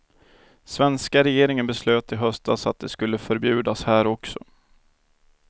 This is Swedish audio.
Svenska regeringen beslöt i höstas att de skulle förbjudas här också.